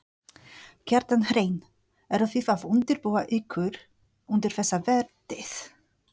Kjartan Hreinn: Eru þið að undirbúa ykkur undir þessa vertíð?